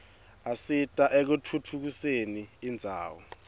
asita ekutfutfu usen indzawo